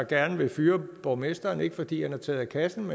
gerne vil fyre borgmesteren ikke fordi han har taget af kassen